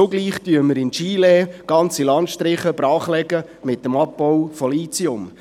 Zugleich legen wir in Chile ganze Landstriche mit dem Abbau von Lithium brach.